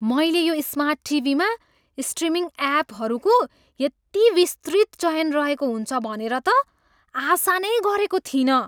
मैले यो स्मार्ट टिभीमा स्ट्रिमिङ एपहरूको यति विस्तृत चयन रहेको हुन्छ भनेर त आशा नै गरेको थिइनँ।